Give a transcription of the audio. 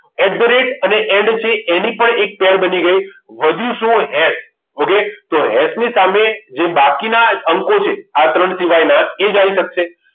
At the rate અને end છે એની પણ એક pair બની ગઈ વધ્યું શું હેસ ઓકે તો એસ ની સામે જે બાકીના અંકો છે આ ત્રણ સિવાયના એ જ આવી શકશે